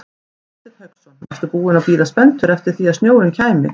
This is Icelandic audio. Hafsteinn Hauksson: Varstu búinn að bíða spenntur eftir því að snjórinn kæmi?